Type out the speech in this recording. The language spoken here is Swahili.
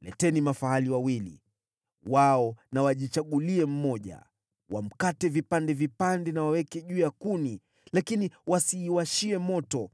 Leteni mafahali wawili. Wao na wajichagulie mmoja, wamkate vipande vipande na waweke juu ya kuni lakini wasiiwashie moto.